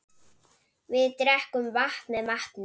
Við drekkum vatn með matnum.